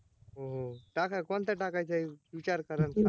हो हो टाका कोणता टाकायचा विचार करा, आणि सांगा